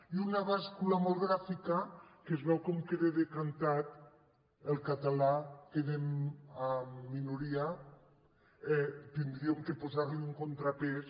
i una bàscula molt gràfica que es veu com queda decantat el català que·da en minoria hauríem de posar·hi un contrapès